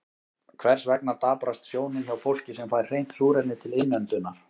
Hvers vegna daprast sjónin hjá fólki sem fær hreint súrefni til innöndunar?